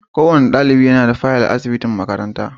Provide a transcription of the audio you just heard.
Kowane dalibi yana da fayal a asubitin makaranta.